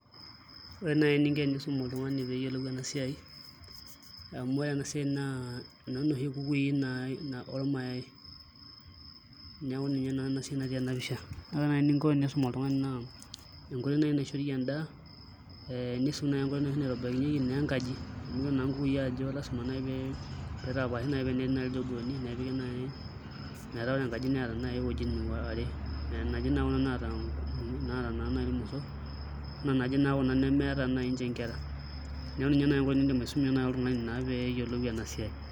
Ore naa eninko tenisumi oltung'ani metayiolo ena siai amu ore ena siai naa enoshi oo nkukui ormayai neeku ninye naa esiai naati ena pisha naa ore naaji eninko oltung'ani pee esum oltung'ani naaji naishoriekie endaa nisum sii enkoitoi nashetieki enkaji amu ore ore nkukui najii naa lasima pee eitapashi ewueji amu ore naaji enkaji netaa ewuejitin are metaa keeta naata irmosor netii nataa enkera ewueji enye neeku ena naaji enkoitoi nidim aisumie oltung'ani